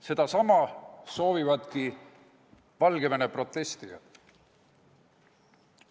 Sedasama soovivad Valgevene protestijad.